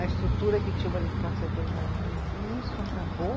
A estrutura que tinha o, e isso acabou?